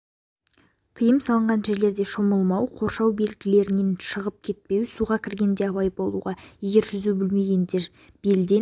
тиым салынған жерлерде шомылмау қоршау белгілерінен шығып кетпеу суға кіргенде абай болуға егер жүзу білмесеңіздер белден